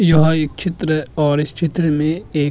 यहा एक चित्र और इस चित्र में एक --